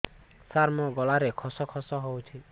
ସାର ମୋ ଗଳାରେ ଖସ ଖସ ହଉଚି